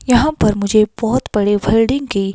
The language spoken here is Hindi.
यहां पर मुझे बहुत बड़ी बिल्डिंग की।